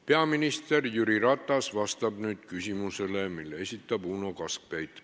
Peaminister Jüri Ratas vastab nüüd küsimusele, mille esitab Uno Kaskpeit.